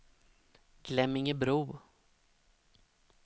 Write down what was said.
Glemmingebro